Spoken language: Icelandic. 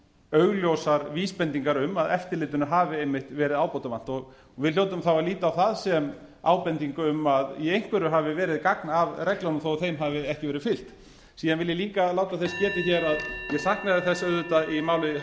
augljósar vísbendingar um að eftirlitinu hafi einmitt verið ábótavant við hljótum þá að líta á það sem ábendingu um að í einhverju hafi verið gagn að reglunum þó að þeim hafi ekki verið fylgt síðan vil ég líka láta þess getið hér að ég saknaði þess auðvitað í máli